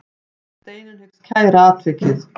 Steinunn hyggst kæra atvikið.